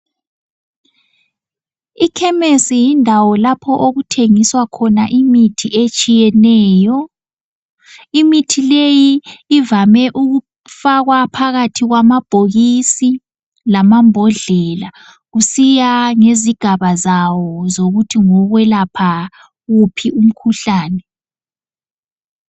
Ikhemesi yindawo lapho okuthengiswa khona imithi etshiyeneyo, imithi leyi ivame ukufakwa phakathi kwamabhokisi lamambodlela kusiya ngezigaba zawo zokuthi ngowokwelapha uphi umkhuhlane.